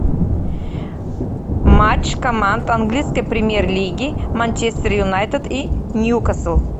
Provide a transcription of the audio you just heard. матч команд английской премьер лиги манчестер юнайтед и ньюкасл